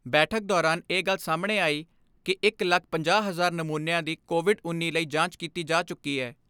ਬੈਠਕ ਦੌਰਾਨ ਇਹ ਗੱਲ ਸਾਹਮਣੇ ਆਈ ਕਿ ਇਕ ਲੱਖ ਪੰਜਾਹ ਹਜ਼ਾਰ ਨਮੂਨਿਆਂ ਦੀ ਕੋਵਿਡ ਉੱਨੀ ਲਈ ਜਾਂਚ ਕੀਤੀ ਜਾ ਚੁੱਕੀ ਐ।